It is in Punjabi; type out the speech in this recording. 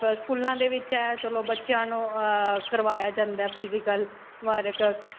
ਜਾਂ ਫਿਰ ਸਕੂਲਾਂ ਦੇ ਵਿੱਚ ਹੈ ਚਲੋ ਬੱਚਿਆਂ ਨੂੰ ਅਅ ਕਰਵਾਇਆ ਜਾਂਦਾ ਹੈ physical work